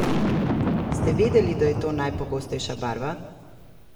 Ste vedeli, da je to najpogostejša barva?